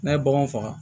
N'a ye bagan faga